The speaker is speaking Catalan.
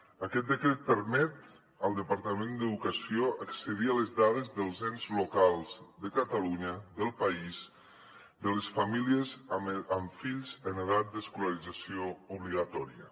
aquest decret permet al departament d’educació accedir a les dades dels ens locals de catalunya del país de les famílies amb fills en edat d’escolarització obligatòria